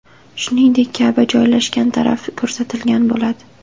Shuningdek, Ka’ba joylashgan taraf ko‘rsatilgan bo‘ladi.